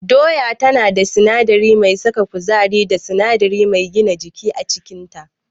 Doya tana da sinadari mai saka kuzari da sinadari mai gina jiki a cikinta.